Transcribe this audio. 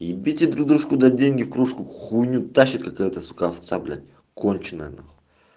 любите друг дружку деньги в кружку хуйню тащит какая-то конченая